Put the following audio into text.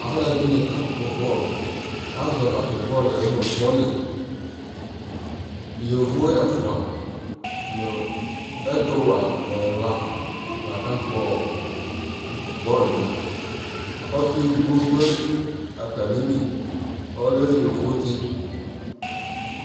alʋɛdini ka kpɔ ball, azɔ tatʋ bɔlʋɛ nʋ volley, yɔvɔ ɛƒʋɛ nʋ ɛtʋ wɛ ɛla la ka kpɔ bɔlʋɛ, ɔsii ɛdigbɔ dʋ atamili ɔlɛ yɔvɔ tsi